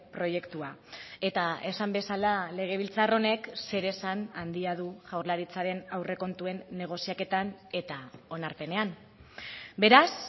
proiektua eta esan bezala legebiltzar honek zeresan handia du jaurlaritzaren aurrekontuen negoziaketan eta onarpenean beraz